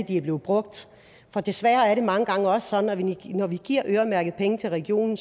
de er blevet brugt for desværre er det mange gange også sådan at når vi giver øremærkede penge til regionen